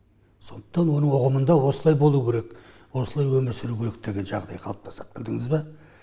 сондықтан оның ұғымында осылай болу керек осылай өмір сүру керек деген жағдай қалыптасады білдіңіз ба